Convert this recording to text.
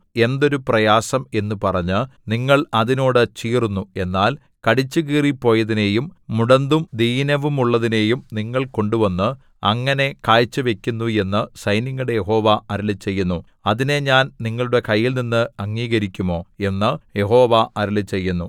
എന്തൊരു പ്രയാസം എന്നു പറഞ്ഞു നിങ്ങൾ അതിനോട് ചീറുന്നു എന്നാൽ കടിച്ചുകീറിപ്പോയതിനെയും മുടന്തും ദീനവുമുള്ളതിനെയും നിങ്ങൾ കൊണ്ടുവന്ന് അങ്ങനെ കാഴ്ചവയ്ക്കുന്നു എന്നു സൈന്യങ്ങളുടെ യഹോവ അരുളിച്ചെയ്യുന്നു അതിനെ ഞാൻ നിങ്ങളുടെ കൈയിൽനിന്ന് അംഗീകരിക്കുമോ എന്നു യഹോവ അരുളിച്ചെയ്യുന്നു